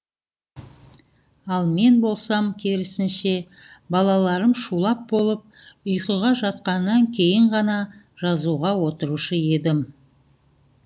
ал мен болсам керісінше балаларым шулап болып ұйқыға жатқаннан кейін ғана жазуға отырушы едім